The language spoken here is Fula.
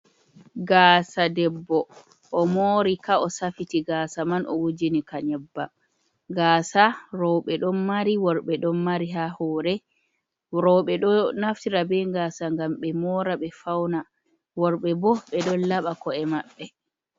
Gaasa debbo o moori ka, o safiti gaasa man, o wujini ka nyebbam, gaasa rooɓe ɗon mari, worɓe ɗon mari haa hoore, rooɓe ɗo naftira be gaasa ngam ɓe moora ɓe fauna, worɓe bo ɓe ɗo laɓa ko’e maɓɓe.